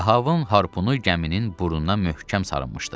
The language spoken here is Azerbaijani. Ahabın harpunu gəminin burnuna möhkəm sarınmışdı.